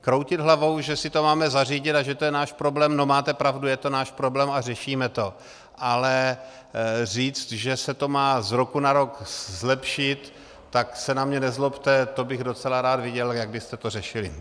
Kroutit hlavou, že si to máme zařídit a že to je náš problém - no máte pravdu, je to náš problém a řešíme to, ale říct, že se to má z roku na rok zlepšit, tak se na mě nezlobte, to bych docela rád viděl, jak byste to řešili.